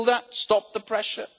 Will that stop the pressure?